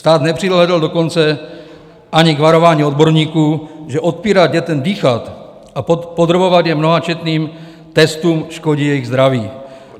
Stát nepřihlédl dokonce ani k varování odborníků, že odpírat dětem dýchat a podrobovat je mnohačetným testům škodí jejich zdraví.